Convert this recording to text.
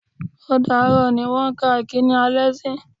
Ó dààrọ́ ni wọ́n kan ìkíní alẹ́ sí.